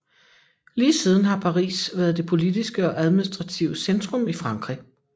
Lige siden har Paris været det politiske og administrative centrum i Frankrig